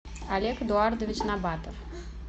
олег эдуардович набатов